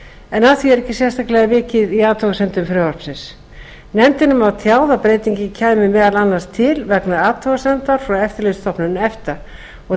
en að því er ekki sérstaklega vikið í athugasemdum frumvarpsins nefndinni var tjáð að breytingin kæmi meðal annars til vegna athugasemdar frá eftirlitsstofnun efta og